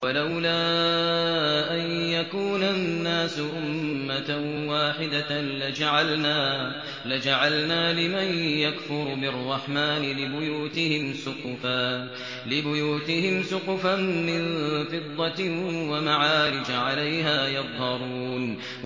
وَلَوْلَا أَن يَكُونَ النَّاسُ أُمَّةً وَاحِدَةً لَّجَعَلْنَا لِمَن يَكْفُرُ بِالرَّحْمَٰنِ لِبُيُوتِهِمْ سُقُفًا مِّن فِضَّةٍ وَمَعَارِجَ عَلَيْهَا يَظْهَرُونَ